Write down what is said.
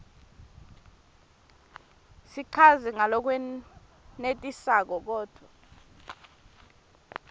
sichazwe ngalokwenetisako kodvwa